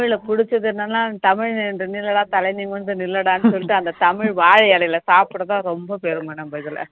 தமிழ்ல புடிச்சது என்னன்னா தமிழ் என்று நில்லடா தலை நிமிர்ந்து நில்லடான்னு சொல்லிட்டு அந்த தமிழ் வாழை இலையில சாப்பிடத்தான் ரொம்ப பெருமை நம்ம இதுல